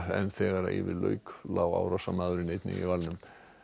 en þegar yfir lauk lá árásarmaðurinn einnig í valnum